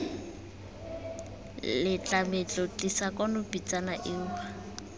letlametlo tlisa kwano pitsana eo